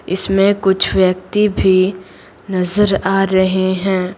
इसमें कुछ व्यक्ति भी नजर आ रहे हैं।